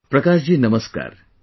Prakash ji Namaskar